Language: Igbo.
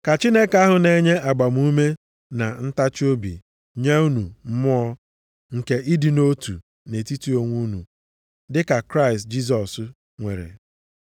Ka Chineke ahụ na-enye agbamume na ntachiobi nye unu mmụọ nke ịdị nʼotu nʼetiti onwe unu, dịka Kraịst Jisọs nwere.